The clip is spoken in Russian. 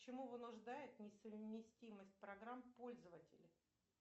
чему вынуждает несовместимость программ пользователя